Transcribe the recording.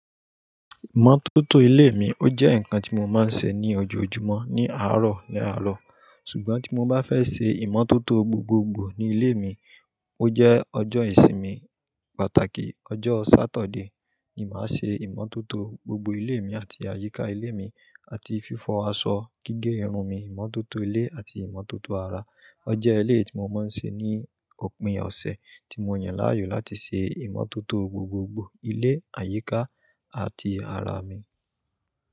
Ìmọ́tótó ilé mi ó jẹ́ ǹkan tí mo máa ń ṣe ní ojoojúmọ́, ní àárọ̀ ní àárọ̀. Ṣùgbọ́n tí mo bá fẹ́ ṣe ìmọ́tótó gbogbogbò ni ilé mi, ó jẹ́ ọjọ́ ìsinmi pàtàkì, ọjọ́ Satọdeé ni màá ṣe ìmọ́tótó gbogbo ilé mi àti àyíká ilé mi àti fífọ aṣọ, gígé irun mi, ìmọ́tótó ilé àti ìmọ́tótó ara. Ọje eleyii tí mo máa ń ṣe ní òpin ọ̀sẹ̀ tí mo yàn láàyò láti ṣe ìmọ́tótó gbogbogbò ilé, àyíká àti ara mi.